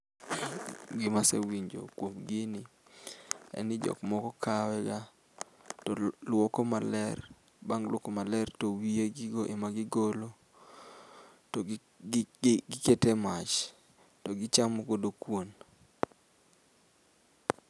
Gima asewinjo kuom gini, en ni jokmoko kawe gaa toluoko maler bang' luoko maler towiye gigoo ema gigolo , togikete mach togichamo godo kuon.